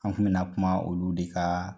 An kun bi na kuma olu de ka